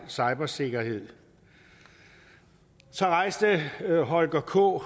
cybersikkerhed så rejste holger k